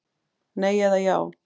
Nei eða já.